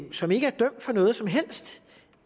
som ikke er dømt for noget som helst